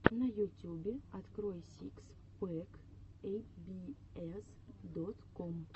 на ютюбе открой сикс пэк эй би эс дот ком